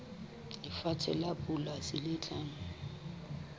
lefatshe la polasi le nang